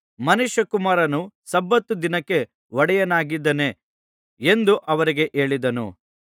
ಮನುಷ್ಯಕುಮಾರನು ಸಬ್ಬತ್ ದಿನಕ್ಕೆ ಒಡೆಯನಾಗಿದ್ದಾನೆ ಎಂದು ಅವರಿಗೆ ಹೇಳಿದನು